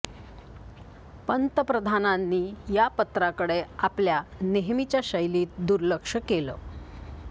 पंतप्रधानांनी या पत्राकडे आपल्या नेहमीच्या शैलीत दुर्लक्ष केलं